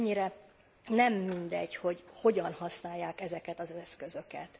És mennyire nem mindegy, hogy hogyan használják ezeket az eszközöket.